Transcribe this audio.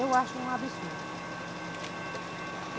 Eu acho um absurdo.